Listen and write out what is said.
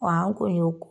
Wa an kun y'o